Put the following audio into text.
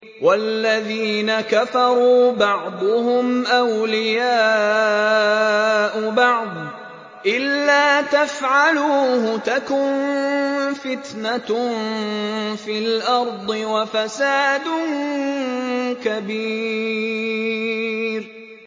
وَالَّذِينَ كَفَرُوا بَعْضُهُمْ أَوْلِيَاءُ بَعْضٍ ۚ إِلَّا تَفْعَلُوهُ تَكُن فِتْنَةٌ فِي الْأَرْضِ وَفَسَادٌ كَبِيرٌ